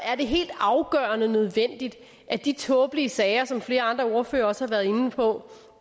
er det helt afgørende nødvendigt at de tåbelige sager som flere andre ordførere også har været inde på